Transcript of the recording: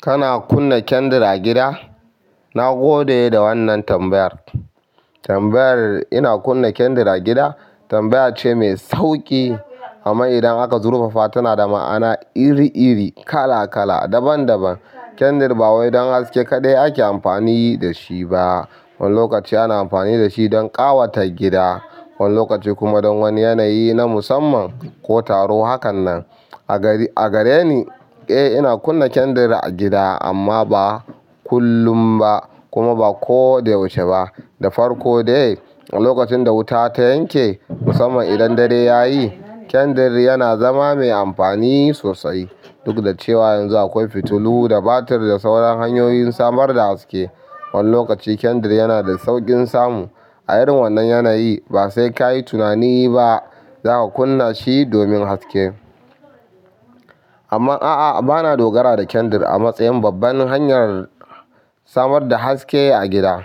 Kana kunna kyandir a gida? Na gode da wannan tambayar. Tambayar "ina kunna kyandar a gida?" tambaya ce mai sauƙi amma idan aka zurfafa tana da ma'ana iri iri, kala kala, daban daban. Kyandar ba wai don haske kaɗai ake amfani da shi ba. Wani lokaci ana amfani da shi don ƙawata gida, wani lokaci kuma don wani yanayi na musamman ko taro. Hakanan. A gare ni, eh ina kunna kyandir a gida amma ba ba kullum ba kuma ba ko da yaushe ba. Da farko dai, lokacin da wuta ta yanke musamman idan dare yayi, kyandir yana zama mai amfani sosai. Duk da cewa yanzu akwai fitilu da batir da sauran hanyoyin samar da haske. Wani lokaci kyandir yana da sauƙin samu. A irin wannan yanayi ba sai ka yi tunani ba za ka kunna shi domin haske. Amma a'a, ba na dogara da kyandir a matsayin babban hanyar samar da haske a gida.